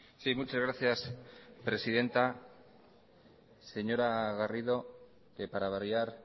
sí muchas gracias presidenta señora garrido que para variar